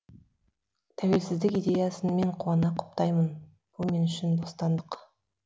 тәуелсіздік идеясын мен қуана құптаймын бұл мен үшін бостандық